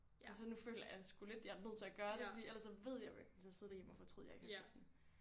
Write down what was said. Altså nu føler jeg sgu lidt jeg er nødt til at gøre det fordi ellers så ved jeg jeg kommer til at sidde derhjemme og fortryde jeg ikke har købt den